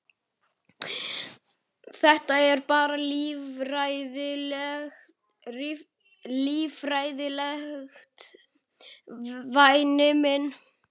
Þetta er bara líffræðilegt, væni minn.